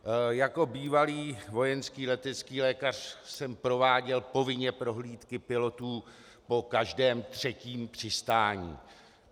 Jako bývalý vojenský letecký lékař jsem prováděl povinně prohlídky pilotů po každém třetím přistání.